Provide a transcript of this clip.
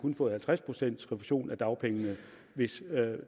har fået halvtreds procent refusion af dagpengene hvis